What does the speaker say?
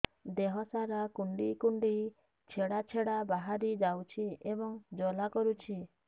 ଦେହ ସାରା କୁଣ୍ଡେଇ କୁଣ୍ଡେଇ ଛେଡ଼ା ଛେଡ଼ା ବାହାରି ଯାଉଛି ଏବଂ ଜ୍ୱାଳା କରୁଛି